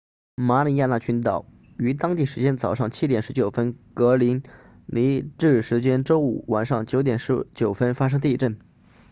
马里亚纳群岛于当地时间早上7点19分格林尼治时间周五晚上9点19分发生地震